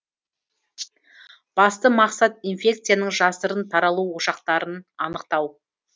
басты мақсат инфекцияның жасырын таралу ошақтарын анықтау